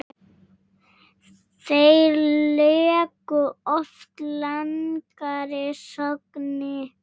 Þeir leika oft langar sóknir.